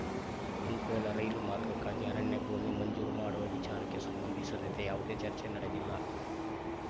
ಅಂಕೋಲ ರೈಲು ಮಾರ್ಗಕ್ಕಾಗಿ ಅರಣ್ಯ ಭೂಮಿ ಮಂಜೂರು ಮಾಡುವ ವಿಚಾರಕ್ಕೆ ಸಂಬಂಧಿಸಿದಂತೆ ಯಾವುದೇ ಚರ್ಚೆ ನಡೆದಿಲ್ಲ